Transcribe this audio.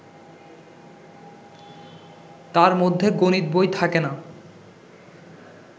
তার মধ্যে গণিত বই থাকে না